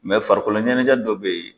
farikolo ɲɛnajɛ dɔ bɛ yen.